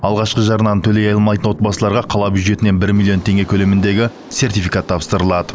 алғашқы жарнаны төлей алмайтын отбасыларға қала бюджетінен бір миллион теңге көлеміндегі сертификат тапсырылады